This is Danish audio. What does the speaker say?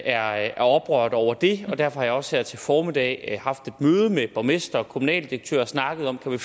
er er oprørte over det derfor har jeg også her til formiddag haft et møde med borgmester og kommunaldirektør og snakket om om